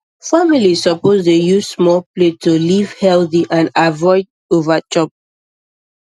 families suppose dey use small plate to live healthy and avoid overchop